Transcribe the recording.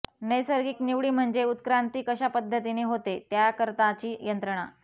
नैसर्गिक निवडी म्हणजे उत्क्रांती कशा पद्धतीने होते त्याकरताची यंत्रणा